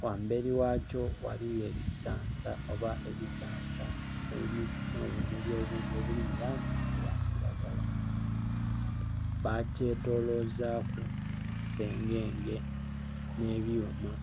Ghambeli ghakyo ghaligho ekisansa oba ebisansa nho bumuli obundhi obuli mu langi eya kilagala. Bkyetolozaku sengenge nh'byuuma.